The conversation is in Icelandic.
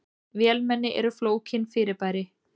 Vélmenni eru flókin fyrirbæri.